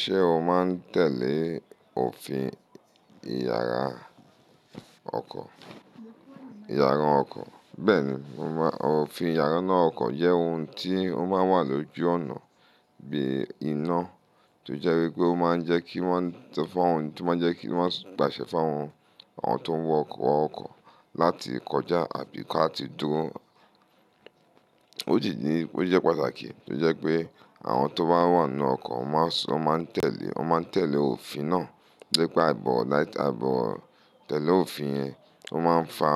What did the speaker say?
Ṣé o máa ń tẹ̀lé òfin ìyara ọkọ̀? Bẹ́ẹ̀ni, òfin ìyára ọkọ̀ jẹ́ ohun tí ó máa ń wà lójú ọ̀nà bíi iná tó jẹ́ wípé ó máa ń jẹ́ kí wọ́n pàṣẹ fún àwọn tó ń wọ ọkọ̀ láti kọjá àbí ká ti dúró. Ó jí ní pé ó jẹ́ pàtàkì tí ó jẹ́ pé àwọn tó bá wà nínú ọkọ̀ máa ń tẹ̀lé òfin náà. Lépè áìbọ̀ tẹ̀lé òfin yẹn ó máa ń fa